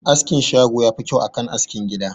Askin shago yafi kyau akan askin gida